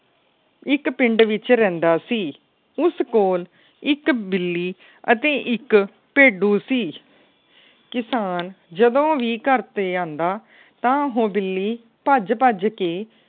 ਇੱਕ ਪਿੰਡ ਵਿੱਚ ਰਹਿੰਦਾ ਸੀ। ਉਸ ਕੋਲ ਇੱਕ ਬਿੱਲੀ ਅਤੇ ਇੱਕ ਭੇਡੂ ਸੀ। ਕਿਸਾਨ ਜਦੋ ਵੀ ਘਰ ਤੇ ਆਂਦਾ ਤਾ ਉਹ ਬਿੱਲੀ ਭੱਜ-ਭੱਜ ਕੇ